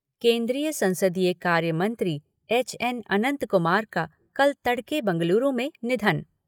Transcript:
केन्द्रीय संसदीय कार्य मंत्री एच.एन. अंनत कुमार का कल तड़के बंगलुरू में निधन